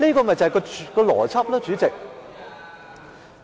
這就是邏輯，主席。